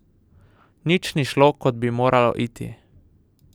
Nič ni šlo, kot bi moralo iti.